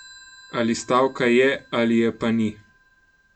Ali stavka je ali je pa ni.